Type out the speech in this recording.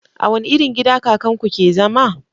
A wani irin gida kakan ku ke zama?